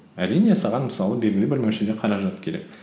әрине саған мысалы белгілі бір мөлшерде қаражат керек